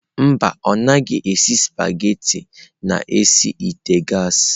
Mba, ọ naghị esi spaghetị n'isi ite gas.